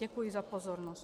Děkuji za pozornost.